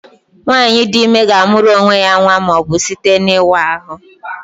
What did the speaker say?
Nwaanyị dị ime ga-amụrụ onwe ya nwa ma ọ bụ site n'ịwa ahụ